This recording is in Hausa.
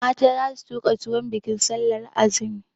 Mata za su tuka tuwon bikin sallar azumi.